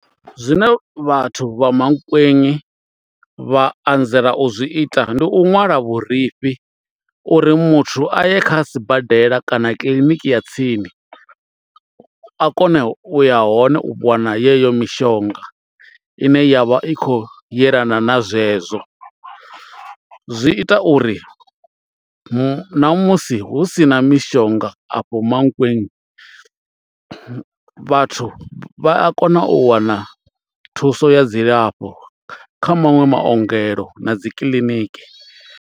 Zwine vhathu vha Mankweng vha anzela u zwi ita ndi u nwala vhurifhi uri muthu a ye kha sibadela kana kiḽiniki ya tsini a kone u ya hone u wana yeyo mishonga ine ya vha i khou yelana na zwezwo, zwi ita uri na musi hu si na mishonga afho Mankweng vhathu vha a kona u wana thuso ya dzilafho kha maṅwe maongelo na dzi kiḽiniki.